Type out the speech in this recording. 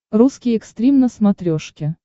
русский экстрим на смотрешке